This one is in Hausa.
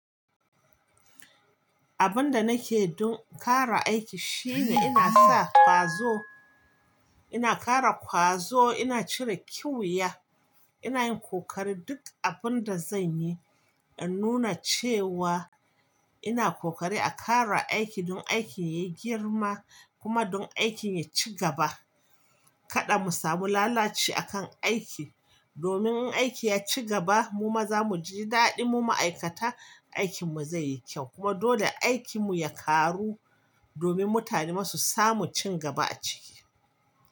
Abin da nake don kara aiki shine ina sa kwazo, ina kara kwazo, ina cire kiwiya, ina yin kokari duk abin da zan yi a nuna cewa ina kokari a kara aiki don aikin ya yi girma kuma don aikin ya ci gaba. Kada mu samu lalaci a kan aiki domin in aiki ya ci gaba mu maza mu ji daɗi mu ma'aikata aikin mu zai yi kyau kuma dole aikin mu ya karu domin mutane masu samu cin gaba a ciki.